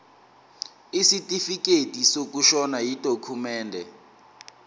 isitifikedi sokushona yidokhumende